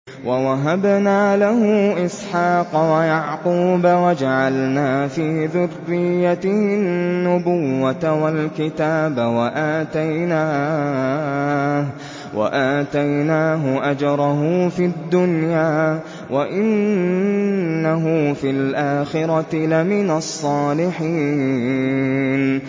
وَوَهَبْنَا لَهُ إِسْحَاقَ وَيَعْقُوبَ وَجَعَلْنَا فِي ذُرِّيَّتِهِ النُّبُوَّةَ وَالْكِتَابَ وَآتَيْنَاهُ أَجْرَهُ فِي الدُّنْيَا ۖ وَإِنَّهُ فِي الْآخِرَةِ لَمِنَ الصَّالِحِينَ